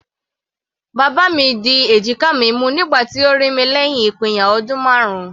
Bàbá mi di èjìká mi mú nígbà tí ó rí mi lẹ́hìn ìpínyà ọdún marun.